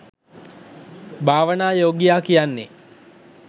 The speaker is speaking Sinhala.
භවනායෝගියා කියන්නේ.